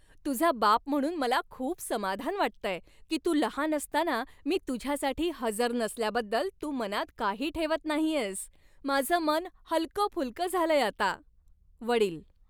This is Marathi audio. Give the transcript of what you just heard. तुझा बाप म्हणून मला खूप समाधान वाटतंय की तू लहान असताना मी तुझ्यासाठी हजर नसल्याबद्दल तू मनात काही ठेवत नाहीयेस. माझं मन हलकंफुलकं झालंय आता. वडील